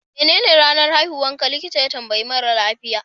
menene ranar haihuwarka, likita ya tambayi mara lafiya